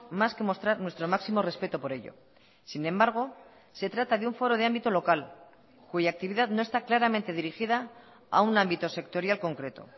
más que mostrar nuestro máximo respeto por ello sin embargo se trata de un foro de ámbito local cuya actividad no está claramente dirigida a un ámbito sectorial concreto